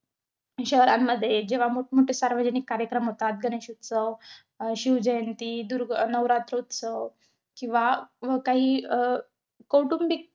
शहरांमध्ये जेव्हा मोठमोठे सार्वजनिक कार्यक्रम होतात, गणेशोत्सव अं शिवजयंती, दुर्ग~ नवरात्रोत्सव, किंवा व काही अं कौटुंबिक,